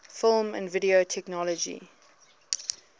film and video technology